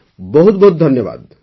ବହୁତ ବହୁତ ଧନ୍ୟବାଦ